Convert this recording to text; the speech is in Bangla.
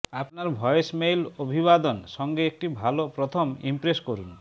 আপনার ভয়েসমেইল অভিবাদন সঙ্গে একটি ভাল প্রথম ইমপ্রেস করুন